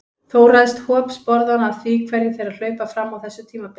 Þó ræðst hop sporðanna af því hverjir þeirra hlaupa fram á þessu tímabili.